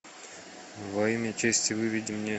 во имя чести выведи мне